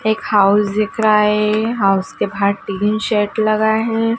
एक हाउस दिख रहा है हाउस के बाहर टीन शेड लगा है।